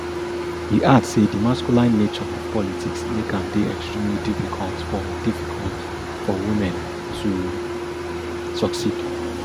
e add say di masculine nature of politics make am dey extremely difficult for difficult for women to succeed